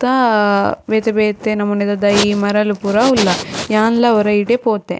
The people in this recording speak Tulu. ಸುತ್ತ ಬೇತೆ ಬೇತೆ ನಮುನಿದ ದೈ ಮರಲ್ ಪೂರ ಉಲ್ಲ ಯಾನ್ಲ ಒರ ಇಡೆ ಪೋತೆ.